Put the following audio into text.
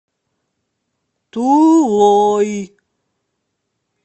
тулой